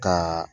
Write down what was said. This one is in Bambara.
Ka